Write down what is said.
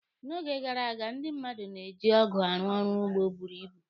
N'oge gara aga, ndị mmadụ na-eji ọgụ arụ ọrụ ugbo buru ibu.